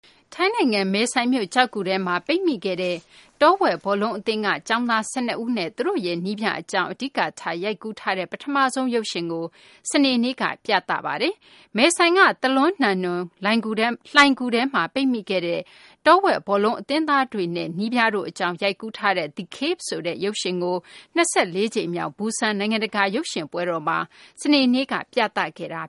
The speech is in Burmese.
ထိုင်းနိုင်ငံ မယ်ဆိုင်မြို့ ကျောက်ဂူထဲမှာ ပိတ်မိခဲ့တဲ့ တောဝက် ဘောလုံးအသင်းက ကျောင်းသား ၁၂ ဦးနဲ့ သူတို့ရဲ့ နည်းပြအကြောင်း အဓိကထား ရိုက်ကူးထားတဲ့ ပထမဆုံးရုပ်ရှင်ကို စနေနေ့က ပထမဆုံး ရုံတင်ပြသပါတယ်။ မယ်ဆိုင်က Tham Luang Nang Non လိုဏ်ဂူထဲမှာ ပိတ်မိခဲ့တဲ့ တောဝက် ဘောလုံးအသင်းသားတွေနဲ့ နည်းပြတို့အကြောင်း ရိုက်ကူးထားတဲ့ The Cave ဆိုတဲ့ ရုပ်ရှင်ကို ၂၄ ကြိမ်မြောက် Busan နိုင်ငံတကာ ရုပ်ရှင်ပွဲတော်မှာ စနေနေ့က ပြသခဲ့တာ